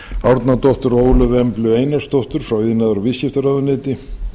árnadóttur og ólöfu emblu einarsdóttur frá iðnaðar og viðskiptaráðuneyti